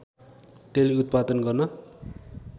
तेल उत्पादन गर्न